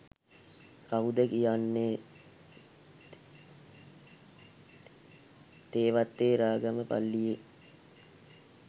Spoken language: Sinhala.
කවුද කියන්නේ තේවත්තේ රාගම පල්ලියේ